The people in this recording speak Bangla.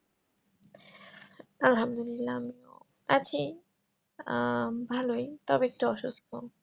আলহামদুল্লিলা আমিও আছি আহ ভালোই তবে একটু অসুস্থ